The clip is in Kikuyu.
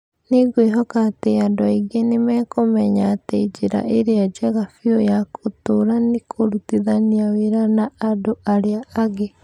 Nĩ ngwĩhoka atĩ andũ aingĩ nĩ mekũmenya atĩ njĩra ĩrĩa njega biũ ya gũtũũra nĩ kũrutithania wĩra na andũ arĩa angĩ.